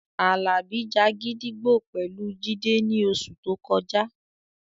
Àlàbí ja gídígbò pẹ̀lú Jídé ní oṣù tó kọjá